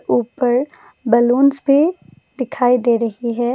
ऊपर बलूंस भी दिखाई दे रही है।